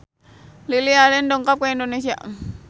Lily Allen dongkap ka Indonesia